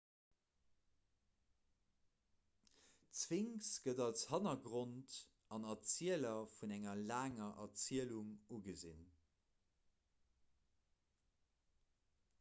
d'sphinx gëtt als hannergrond an erzieler vun enger laanger erzielung ugesinn